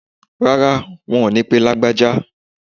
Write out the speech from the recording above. Rárá, wọn ò ní pe Lágbájá.